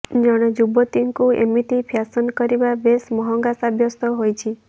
ଜଣେ ଯୁବତୀଙ୍କୁ ଏମିତି ଫ୍ୟାଶନ୍ କରିବା ବେଶ୍ ମହଙ୍ଗା ସାବ୍ୟସ୍ତ ହୋଇଛି